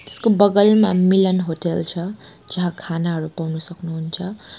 यसको बगलमा मिलन होटेल छ जहाँ खानाहरू पाउनु सक्नुहुन्छ।